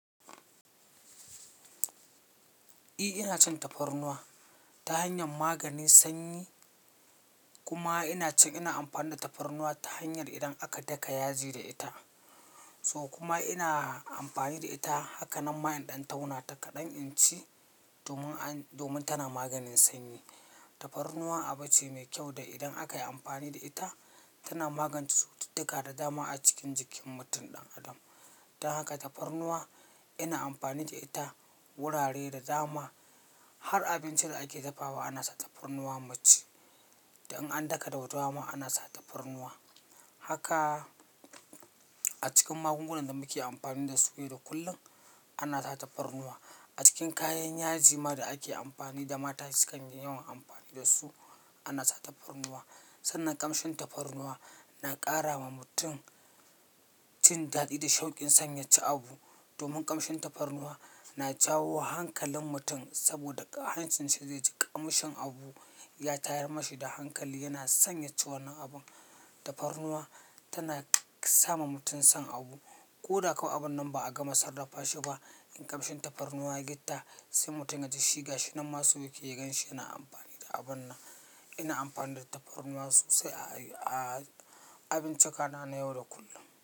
Eh, ina cin tafarnuwa ta hanyar maganin sanyi, kuma ina cin ina amfani da tafarnuwa ta hanyar idan aka daka yaji da ita. To kuma ina amfani da ita haka nan mayen ɗan tauna ta kaɗan inci domin an-domin tana maganin sanyi. Tafarnuwa abu ce mai kyau da idan aka yi amfani da ita, tana magance cututtuka da dama a cikin jikin mutum ɗan adam. Dan haka tafarnuwa ina amfani da ita. Wurare da dama, har abincin da ake dafawa ana sa tafarnuwa mu ci. Dan an daka dahu da dama, ana sa tafarnuwa. Haka a cikin magungunan da muke amfani da su yau da kullum, ana sa tafarnuwa. A cikin kayan yaji ma da ake amfani da mata sukan yi yawan amfani da su, ana sa tafarnuwa. Sannan ƙamshin tafarnuwa na ƙara wa mutum cin daɗi da shaukin sanyace abu. Domin ƙamshin tafarnuwa na jawo hankalin mutum saboda ƙo hancin shi zai ji ƙamshin abu, ya tayar mashi da hankali, yana sanyace wannan abun. Tafarnuwa tana sa ma mutum son abu. Ko da kawai abun nan ba a gama sarrafa shi ba, in ƙamshin tafarnuwa ya yi ƙita, sai mutum ya ji shiga shi. Nan ma su yake ganshi yana amfani da abun nan. Ina amfani da tafarnuwa sosai a-a abinci kanana yau da kullum.